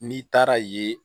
N'i taara ye